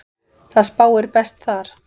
Það spáir best þar.